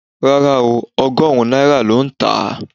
Rárá ooo, ọgọ́rùn-ún náírà ló ń tà á